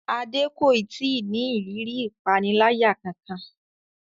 Adé kò ì tí ì ní ìrírí ìpaniláyà kankan